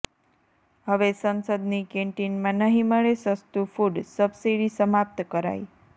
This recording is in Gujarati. હવે સંસદની કેન્ટીનમાં નહિ મળે સસ્તુ ફુડઃ સબસીડી સમાપ્ત કરાઇ